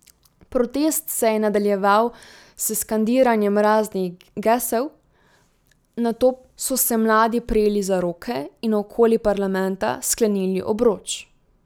Protest se je nadaljeval s skandiranjem raznih gesel, nato so se mladi prijeli za roke in okoli parlamenta sklenili obroč.